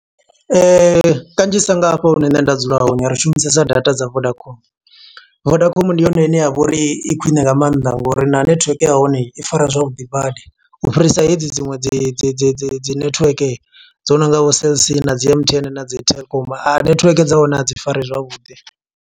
Kanzhisa nga hafha hune nṋe nda dzula hone, ri shumisesa data dza Vodacom. Vodacom ndi yone ine ya vha uri i khwiṋe nga maanḓa ngo uri na netiweke ya hone i fara zwavhuḓi badi. U fhirisa hedzi dziṅwe dzi dzi dzi dzi dzi netiweke, dzo no nga vho Cellc, na dzi M_T_N, na dzi Telkom. Ari, netiweke dza hone a dzi fari zwavhuḓi.